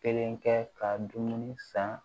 Kelen kɛ ka dumuni san